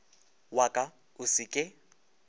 wa ka o se ke